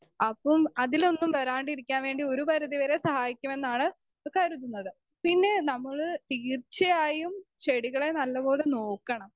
Speaker 2 അപ്പം അതിലൊന്നും വരാണ്ടിരിക്കാൻ വേണ്ടി ഒരു പരിധിവരെ സഹായിക്കുമെന്നാണ് കരുതുന്നത്.പിന്നെ നമ്മള് തീർച്ചയായും ചെടികളെ നല്ലപോലെ നോക്കണം.